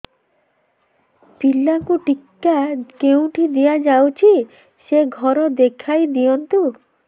ପିଲାକୁ ଟିକା କେଉଁଠି ଦିଆଯାଉଛି ସେ ଘର ଦେଖାଇ ଦିଅନ୍ତୁ